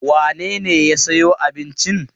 Wane ne ya sayo abincin?